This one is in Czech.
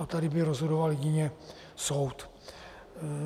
A tady by rozhodoval jedině soud.